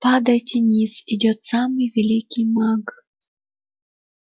падайте ниц идёт самый великий маг